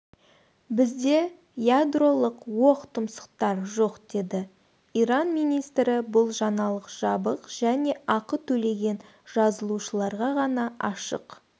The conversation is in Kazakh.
бізде ядролық оқтұмсықтар жоқ деді иран министрі бұл жаңалық жабық және ақы төлеген жазылушыларға ғана ашық